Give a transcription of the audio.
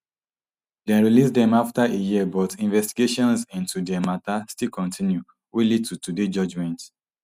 dem release dem afta a year but investigations into dia mata still kontinu wey lead to today judgement